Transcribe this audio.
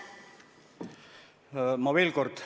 Ma veel kord ...